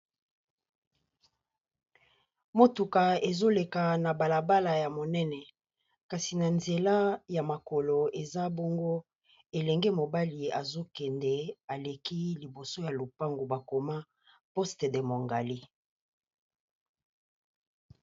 Motuka ezo leka na balabala ya monene kasi na nzela ya makolo, eza bongo elenge mobali azo kende a leki liboso ya lopango ba koma poste de Moungali .